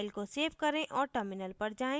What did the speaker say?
file को save करें और terminal पर जाएँ